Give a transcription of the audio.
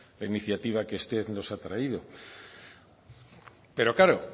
la iniciativa que usted nos ha traído pero claro